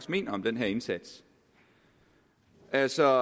mener om den her indsats altså